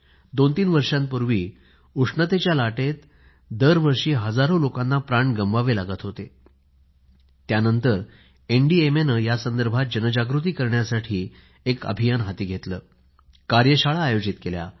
दोनतीन वर्षापूर्वी उष्णतेच्या लाटेत दरवर्षी हजारो लोकांना प्राण गममावे लागत होते त्यानंतर एनडीएमएने यासंदर्भात जनजागृती करण्यासाठी अभियान हाती घेतले कार्यशाळा आयोजित केल्या